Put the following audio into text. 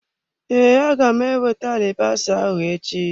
Ee, aga m ewete alibasa ahụ echi.